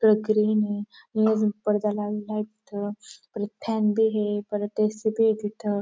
पडदा लावलेला आहे तिथं परत फॅन बी ए. परत ए.सी. बी ये तिथं.